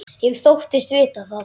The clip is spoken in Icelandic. Ég þóttist vita það.